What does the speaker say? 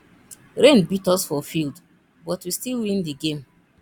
rain beat us for field but we still win the game